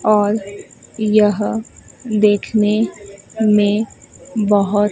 और यह देखने में बहोत--